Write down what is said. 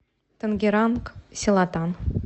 тангеранг селатан